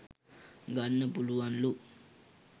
ගන්න පුළුවන්ලු.